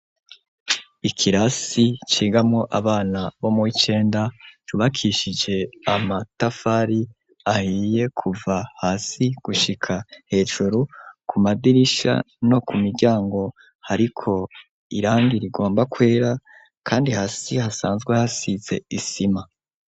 Ikirasi cigamwo abana bo mu'icenda yubakishije amatafari ahiye kuva hasi gushika hejuru ku madirisha no ku miryango hariko irangi rigomba kwera, kandi hasi hasanzwe hasize isima.